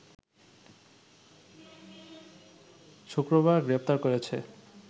শুক্রবার গ্রেপ্তার করেছে